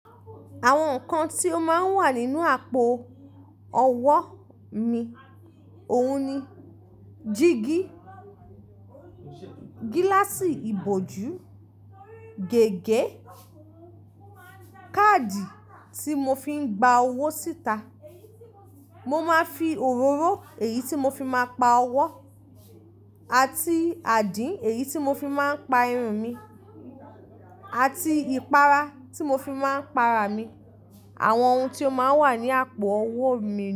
Àwọn nǹkan tí ó máa wà nínú àpò ọwó mi òun ni, dígí, gíláàsì ìbòjú, gègé, káàdì tí mo fi ń gba owó síta. Mo máa ń fi òróró, èyí tí mo fi máa ń pa owó àti àdín, èyí tí mo fi máa ń pa irun mi àti ìpara tí mo fi máa ń pa ara mi. Àwọn ohun tí ó máa wà ní àpò ọwọ mi ni.